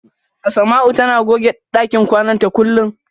Asama'u tana goge ɗakin kwana ta kullum.